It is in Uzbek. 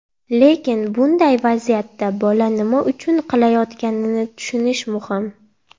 Lekin bunday vaziyatda bola nima uchun qilayotganini tushunish muhim.